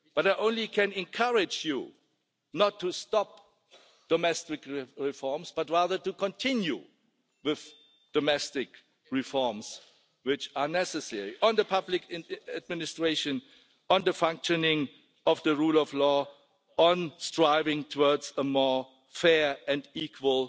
I can only encourage you not to stop domestic reforms but rather to continue with the domestic reforms which are necessary, on the public administration, on the functioning of the rule of law, on striving towards a more fair and equal